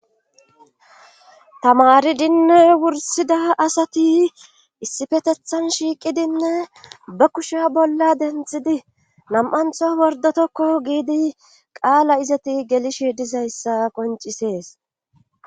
tamaridinne wursida asati issifetethan shiiqidinne ba kusha bolla denthidi nam"antho wordotokko giidi qaala izati gelishe dizayssa qoncisees.